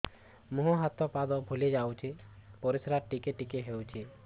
ମୁହଁ ହାତ ପାଦ ଫୁଲି ଯାଉଛି ପରିସ୍ରା ଟିକେ ଟିକେ ହଉଛି